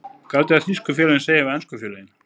Hvað haldiði að þýsku félögin segi við ensku félögin?